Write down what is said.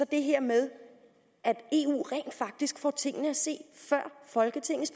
det her med at eu rent faktisk får tingene at se før folketingets